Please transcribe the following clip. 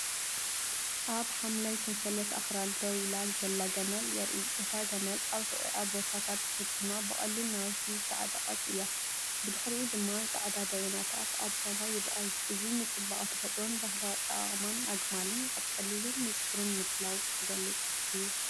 ኣብ ሓምላይ ሰንሰለት ኣኽራን ደው ኢላ ዘላ ገመል የርኢ። እታ ገመል ኣብ ሕቖኣ ቦርሳታት ተሰኪማ ብቐሊል ናውቲ ዝተዓጠቐት እያ። ብድሕሪኡ ድማ ጻዕዳ ደበናታት ኣብ ሰማይ ይረኣዩ። እዚ ንጽባቐ ተፈጥሮን ባህላዊ ኣጠቓቕማ ኣግማልን ኣብ ቀሊልን ንጹርን ምድላው ዝገልጽ እዩ።